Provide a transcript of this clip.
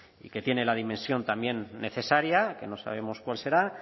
y que tiene la dimensión también necesaria que no sabemos cuál será